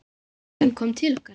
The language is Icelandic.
Frænkan kom til okkar.